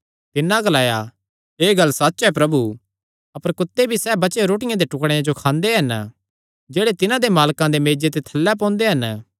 तिन्नै ग्लाया एह़ गल्ल सच्च ऐ प्रभु अपर कुत्ते भी सैह़ बचेयो रोटियां दे टुकड़ेयां जो खांदे हन जेह्ड़े तिन्हां दे मालकां दे मेज्जे ते थल्लैं पोंदे हन